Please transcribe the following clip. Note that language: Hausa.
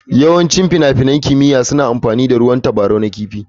Yawancin finafinan almara na kimiyya suna amfani da ruwan tabarau na kifi.